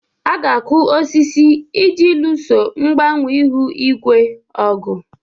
A ga-akụ osisi iji luso mgbanwe ihu igwe ọgụ.